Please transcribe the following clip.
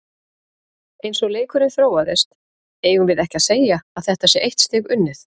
Eins og leikurinn þróaðist, eigum við ekki segja að þetta sé eitt stig unnið?